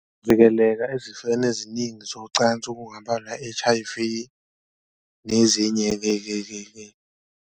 Vikeleka ezifeni eziningi zocansi okungabalwa H_I_V nezinye-ke-ke-ke.